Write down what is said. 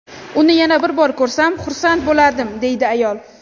Uni yana bir bor ko‘rsam, xursand bo‘lardim”, deydi ayol.